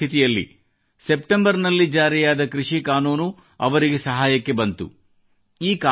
ಇಂತಹ ಪರಿಸ್ಥಿತಿಯಲ್ಲಿ ಸೆಪ್ಟೆಂಬರ್ನಲ್ಲಿ ಜಾರಿಯಾದ ಕೃಷಿ ಕಾನೂನು ಅವರಿಗೆ ಸಹಾಯಕ್ಕೆ ಬಂದಿತು